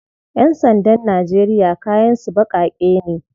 Yan sandan Najeriya kayan su bakake ne.